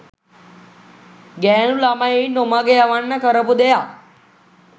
ගෑනු ළමයින් නොමග යවන්න කරපු දෙයක්